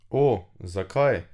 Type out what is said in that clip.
O, zakaj?